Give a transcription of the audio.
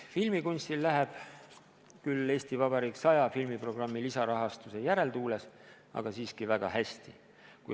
Filmikunstil läheb – küll "EV 100" filmiprogrammi lisarahastuse järeltuules, aga siiski – väga hästi.